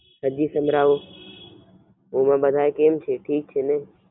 હાજી સંભારવો અને બાધા કેમ છે ઠીક છેને?